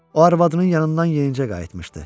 O arvadının yanından yenicə qayıtmışdı.